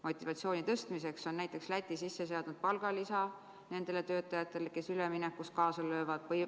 Motivatsiooni tõstmiseks on näiteks sisse seatud palgalisa nendele töötajatele, kes üleminekus kaasa löövad.